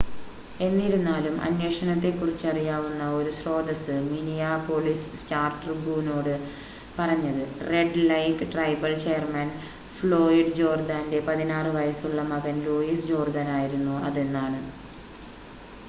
എന്നിരുന്നാലും അന്വേഷണത്തെ കുറിച്ചറിയാവുന്ന ഒരു സ്രോതസ്സ് മിനിയാപോളിസ് സ്റ്റാർ-ട്രിബൂനോട് പറഞ്ഞത് Red Lake tribal chairman Floyd ജേർദാൻ്റെ 16 വയസ് ഉള്ള മകൻ ലൂയിസ് ജോർദാൻ ആയിരുന്നു അതെന്നാണ്